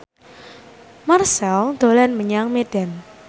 Marchell dolan menyang Medan